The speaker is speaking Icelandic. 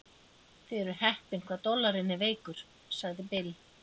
Þið eruð heppin hvað dollarinn er veikur, sagði Bill.